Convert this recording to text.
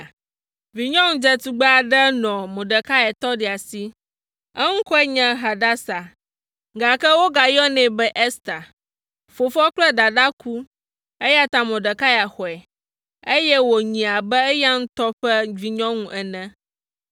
Vinyɔnu dzetugbe aɖe nɔ Mordekai tɔɖia si. Eŋkɔe nye Hadasa, gake wogayɔnɛ be Ester. Fofoa kple dadaa ku, eya ta Mordekai xɔe, eye wònyii abe eya ŋutɔ ƒe vinyɔnu ene.